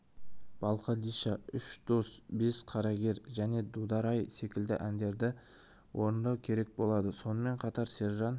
балқадиша үш дос бес қарагер және дудар-ай секілді әндерді орындау керек болады сонымен қатар сержан